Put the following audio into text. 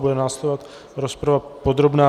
Bude následovat rozprava podrobná.